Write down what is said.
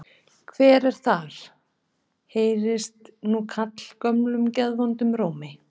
Hver er þar? heyrðist nú kallað gömlum geðvondum rómi.